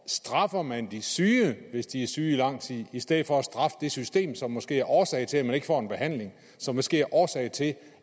straffer man de syge hvis de er syge i lang tid i stedet for at straffe det system som måske er årsag til at de ikke får en behandling og som måske er årsag til